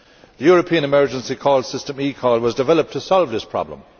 The European Emergency Call System, eCall, was developed to solve this problem.